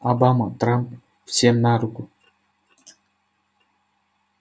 обама трамп всем на руку